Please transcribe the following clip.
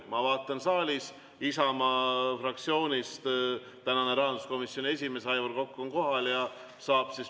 Ma vaatan, et saalis on Isamaa fraktsioonist rahanduskomisjoni esimees Aivar Kokk kohal.